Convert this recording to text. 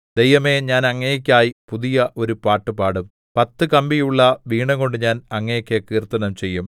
ദൈവമേ ഞാൻ അങ്ങേയ്ക്കായി പുതിയ ഒരു പാട്ടുപാടും പത്തു കമ്പിയുള്ള വീണകൊണ്ട് ഞാൻ അങ്ങേക്ക് കീർത്തനം ചെയ്യും